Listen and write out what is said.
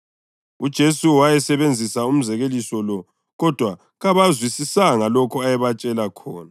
UJesu wasebenzisa umzekeliso lo kodwa kabakuzwisisanga lokho ayebatshela khona.